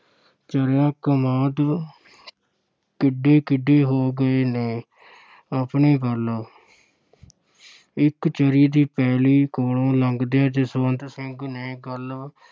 ਚੜ੍ਹੀਆਂ, ਕਮਾਦ ਕਿੱਡੇ-ਕਿੱਡੇ ਹੋ ਗਏ ਨੇ ਆਪਣੇ ਵੱਲ ਇੱਕ ਚਰ੍ਹੀ ਦੀ ਪੈਲੀ ਕੋਲੋਂ ਲੰਘਦਿਆਂ ਜਸਵੰਤ ਸਿੰਘ ਨੇ ਗੱਲ